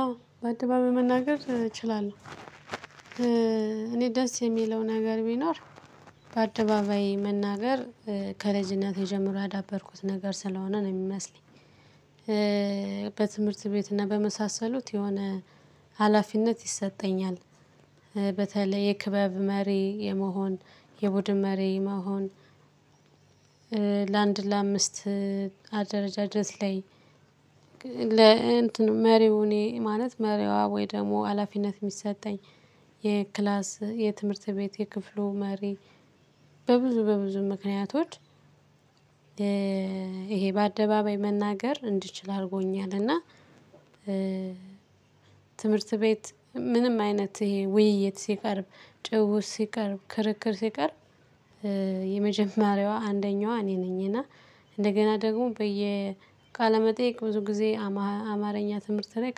አዎ በአደባባይ መናገር እችላለሁ እኔ ደስ የሚለው ነገር ቢኖር በአደባባይ መናገር ከልጅነቴ የጀምሮ ያዳበርኩት ነገር ስለሆነ ነው የሚመስለኝ። በትምህርት ቤት እና በመሳሰሉት የሆነ ሀላፊነት ይሰጠኛል በተለይ የክበብ መሪ የመሆን የቡድን መሪ መሆን ለአንድ ለአምስት አደረጃጀት ላይ ለእንትን መሪው እኔ ማለት መሪዋ ወይ ደግሞ ሀላፊነት የሚሰጠኝ የክላስ የትምህርት ቤት የክፍሉ መሪ በብዙ በብዙ ምክንያቶች ይሄ በአደባባይ መናገር እንድችል አድርጎኛልና። ትምህርት ቤት ምንም አይነት ውይይት ሲቀርብ ጭውውት ሲቀርብ ክርክር ሲቀርብ። የመጀመሪያዋ አንደኛዋ እኔ ነኝ እና እንደገና ደግሞ በየ ቃለመጠየቅ ብዙ ጊዜ አማርኛ ትምህርት ላይ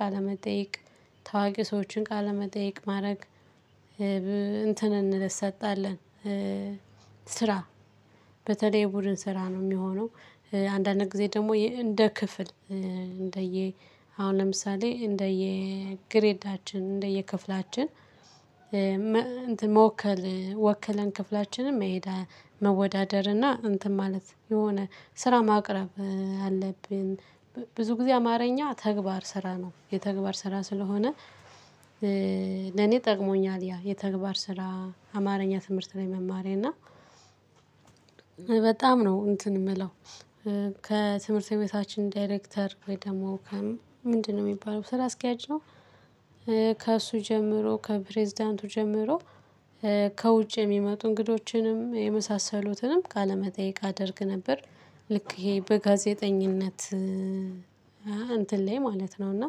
ቃለመጠየቅ ታዋቂ ሰዎችን ቃለመጠየቅ ማረግ እንትን እንሰጣለን ስራ በተለይ የቡድን ስራ ነው የሚሆነው። አንዳንድ ጊዜ ደግሞ እንደ ክፍል እንደየ አሁን ለምሳሌ እንደየ ግሬዳችን እንደየ ክፍላችን መወከል ወከለን ክፍላችንን መሄድ መወዳደር እና እንትን ማለት የሆነ ስራ ማቅረብ አለብን። ብዙ ጊዜ አማርኛ ተግባር ስራ ነው የተግባር ስራ ስለሆነ። ለኔ ጠቅሞኛል ያ የተግባር ስራ አማርኛ ትምህርት ላይ መማሬ እና በጣም ነው እንትን የምለው። ከትምህርት ቤታችን ዳይሬክተር ወይ ደግሞ ከ ምንድነው የሚባለው ስራ አስኪያጅ ነው። ከእሱ ጀምሮ ከፕሬዝዳንቱ ጀምሮ ከውጭ የሚመጡ እንግዶችንም የመሳሰሉትንም ቃለመጠየቅ አደርግ ነበር። ልክ ይሄ በጋዜጠኝነት እንትን ላይ ማለት ነው እና።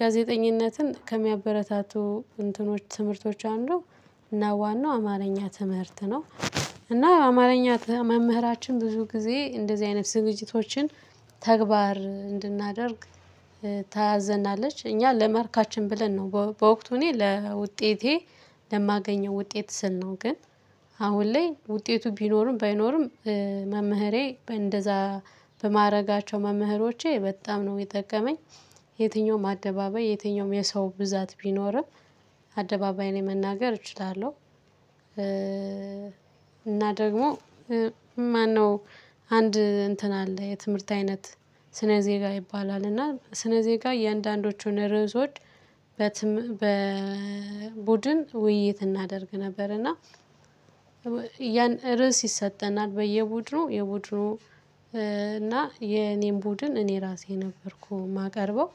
ጋዜጠኝነትን ከሚያበረታቱ እንትኖች ትምህርቶች አንዱ እና ዋናው አማርኛ ትምህርት ነው። እና አማርኛ መምህራችን ብዙ ጊዜ እንደዚህ አይነት ዝግጅቶችን ተግባር እንድናደርግ ታዘናለች እኛ ለማርካችን ብለን ነው በወቅቱ እኔ ለውጤቴ ለማገኘው ውጤት ስንል ነው ግን። አሁን ላይ ውጤቱ ቢኖርም ባይኖርም መምህሬ እንደዛ በማድረጋቸው መምህሮቼ በጣም ነው የጠቀመኝ። የትኛውም አደባባይ የትኛውም የሰው ብዛት ቢኖርም አደባባይ ላይ መናገር እችላለሁ። እና ደግሞ ማነው አንድ እንትን አለ የትምህርት አይነት ስነ ዜጋ ይባላል እና ስነ ዜጋ የአንዳንዶቹን ርዕሶች። በቡድን ውይይት እናደርግ ነበር እና ርዕስ ይሰጠናል በየቡድኑ የቡድኑ እና የኔን ቡድን እኔ ራሴ ነበርኩ ማቀርበው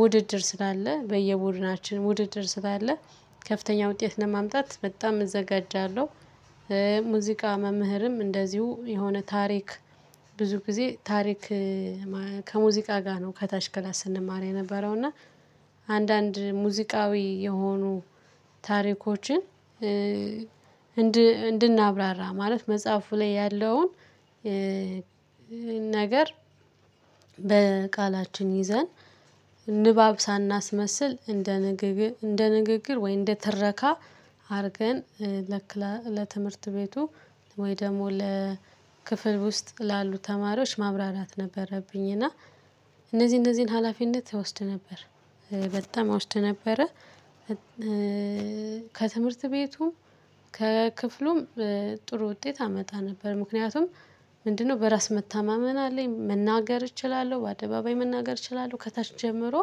ውድድር ስላለ በየቡድናችን ውድድር ስላለ ከፍተኛ ውጤት ለማምጣት በጣም እዘጋጃለሁ። ሙዚቃ መምህርም እንደዚሁ የሆነ ታሪክ ብዙ ጊዜ ታሪክ ከሙዚቃ ጋር ነው ከታች ክላስ ስንማር የነበረው እና አንዳንድ ሙዚቃዊ የሆኑ ታሪኮችን። እንድናብራራ ማለት መጽሐፉ ላይ ያለውን ነገር በቃላችን ይዘን ንባብ ሳናስመስል እንደ ንግግር እንደ ንግግር ወይ እንደ ትረካ አርገን ለክላ ለትምህርት ቤቱ ወይ ደግሞ ለክፍል ውስጥ ላሉ ተማሪዎች ማብራራት ነበረብኝ እና እነዚህ እነዚህን ሀላፊነት እወስድ ነበር። በጣም አውስድ ነበረ። ከትምህርት ቤቱም ከክፍሉም ጥሩ ውጤት አመጣ ነበር ምክንያቱም ምንድነው በራስ መታማመን አለኝ መናገር እችላለሁ በአደባባይ መናገር እችላለሁ። ከታች ጀምሮ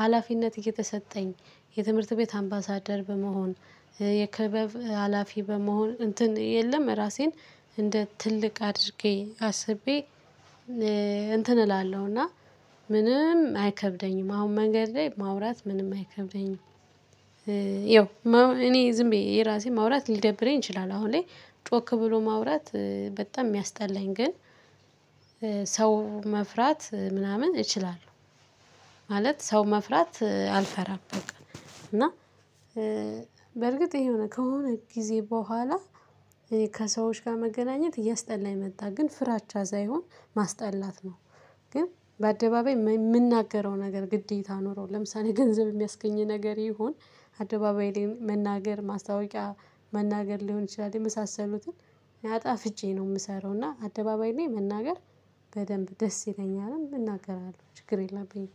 ሀላፊነት እየተሰጠኝ የትምህርት ቤት አምባሳደር በመሆን የክበብ ሀላፊ በመሆን እንትን የለም። ራሴን እንደ ትልቅ አድርጌ አስቤ እንትን እላለሁና ምንም አይከብደኝም አሁን መንገድ ላይ ማውራት ምንም አይከብደኝም። ይኸው እኔ ዝም ብዬ የራሴ ማውራት ሊደብረኝ ይችላል አሁን ላይ ጮክ ብሎ ማውራት በጣም ሚያስጠላኝ ግን። ሰው መፍራት ምናምን እችላለሁ ማለት ሰው መፍራት አልፈራም በቃ። እና በእርግጥ ይሄ የሆነ ከሆነ ጊዜ በኋላ ከሰዎች ጋር መገናኘት እያስጠላኝ መጣ ግን ፍራቻ ሳይሆን ማስጠላት ነው። ግን በአደባባይ ምንናገረው ነገር ግዴታ ኖሮ ለምሳሌ ገንዘብ የሚያስገኝ ነገር ይሁን። አደባባይ ላይ መናገር ማስታወቂያ መናገር ሊሆን ይችላል የመሳሰሉትን አጣፍጬ ነው ምሰራው እና አደባባይ ላይ መናገር። በደንብ ደስ ይለኛልም እናገራለሁ ችግር የለብኝም።